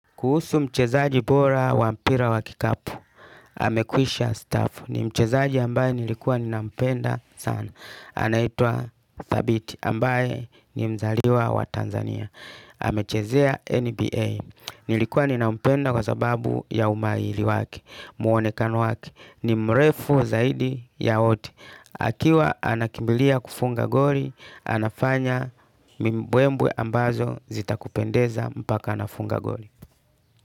Kuhusu mchezaji bora wa mpira wa kikapu, amekwisha staafu ni mchezaji ambaye nilikuwa nina mpenda sana. Anaitwa Thabit ambaye ni mzaliwa wa Tanzania. Amechezea NBA. Nilikuwa nina mpenda kwa sababu ya umahiri wake, muonekano wake. Ni mrefu zaidi ya oti. Akiwa anakimilia kufunga goli, anafanya mbwembe ambazo zita kupendeza mpaka anafunga goli.